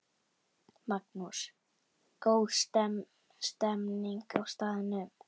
Magnús: Góð stemning á staðnum?